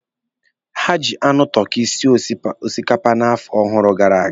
Ha ji anụ tọki sie osikapa n'afọ ọhụrụ gara aga.